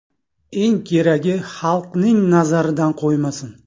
Eng keragi xalqning nazaridan qo‘ymasin.